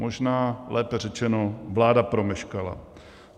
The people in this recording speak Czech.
Možná lépe řečeno, vláda promeškala.